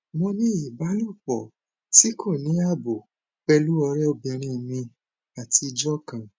mo ní ìbálòpọ tí kò ní ààbò pẹlú ọrẹbìnrin mi àtijọ kan